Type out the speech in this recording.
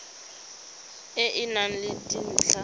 e e nang le dintlha